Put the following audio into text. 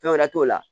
Fɛn wɛrɛ t'o la